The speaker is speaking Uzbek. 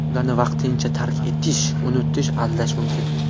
Ularni vaqtincha tark etish, unutish, aldash mumkin.